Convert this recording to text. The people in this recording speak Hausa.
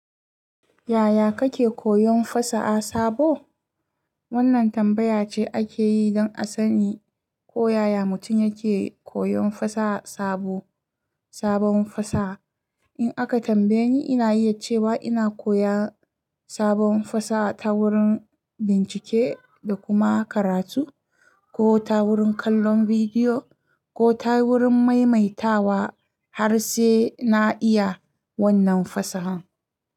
Yaya kake koyon fasa a sabo? Wannan tambaya ce ake yi don a sani ko yaya mutum yake koyon fasa sabo, sabon fasa. In aka tambaye ni, ina yi iya ce wa ina koya sabon fasaha ta wurin bincike da kuma karatu, ko ta wurin kallon vidiyo, ko ta wurin maimaita wa har sai na iya wannan fasahan.